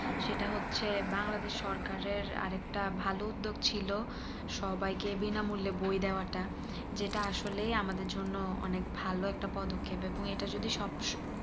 সেটা হচ্ছে বাংলাদেশ সরকারের আরেকটা ভালো উদ্যোগ ছিল সবাই কে বিনা মূল্যে বই দেওয়া টা যেটা আসলেই আমাদের জন্য অনেক ভালো একটা পদক্ষেপ এবং এটা যদি সব